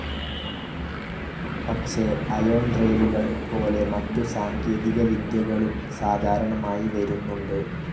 പക്ഷേ അയോൺ ഡ്രൈവുകൾ പോലെ മറ്റു സാങ്കേതികവിദ്യകളും സാധാരണമായി വരുന്നുണ്ട്.